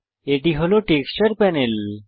এটি হল texture panel